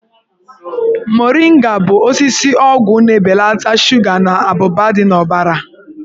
Moringa bụ osisi ọgwụ na-ebelata shuga na abụba dị n'ọbara.